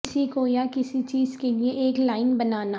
کسی کو یا کسی چیز کے لئے ایک لائن بنانا